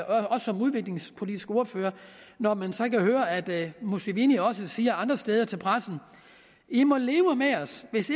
også som udviklingspolitisk ordfører når man så kan høre at museveni også siger andre steder til pressen i må leve med os hvis